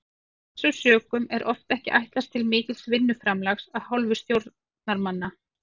Af þessum sökum er oft ekki ætlast til mikils vinnuframlags af hálfu stjórnarmanna.